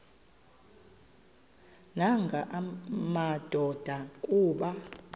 nanga madoda kuba